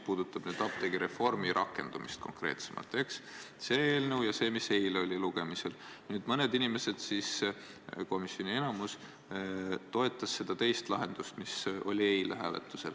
Rohkem küsimusi ei ole.